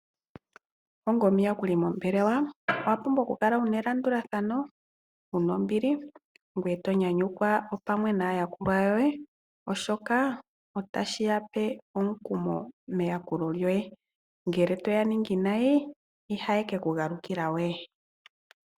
Onga omuyakuli mombelewa owa pumbwa okukala wuna elandulathano ,wuna ombili ngwee to nyanyukwa wo pamwe naayakulwa yoye oshoka otashi yape omukumo meyakulo lyoye ngele toya ningi nayi itaye keku galukila we.